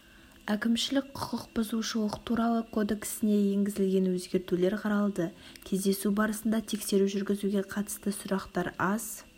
әкімшілік құқық бұзушылық туралы кодексіне енгізілген өзгертулер қаралды кездесу барысында тексеру жүргізуге қатысты сұрақтар аз